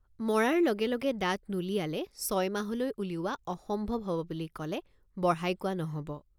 মৰাৰ লগে লগে দাঁত নুলিয়ালে ছয় মাহলৈ উলিওৱা অসম্ভৱ হ'ব বুলি কলে বঢ়াই কোৱা নহ'ব।